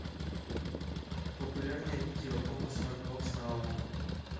популярное видео окко смарт бокс на окко